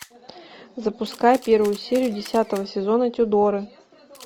запускай первую серию десятого сезона тюдоры